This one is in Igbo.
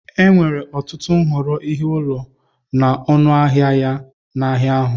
Enwere ọtụtụ nhọrọ ihe ụlọ na ọnụ ahịa ya n'ahịa ahu.